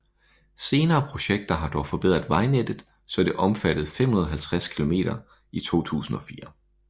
Senere projekter har dog forbedret vejnettet så det omfattede 550 km i 2004